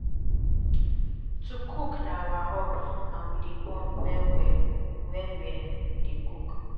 to cook na our hobby and we dey bond well-well wen um we dey cook.